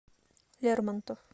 лермонтов